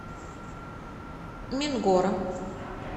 мингора